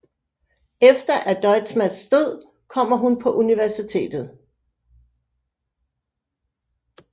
Efter at Deusmasts død kommer hun på universitetet